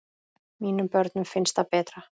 Mínum börnum finnst það betra.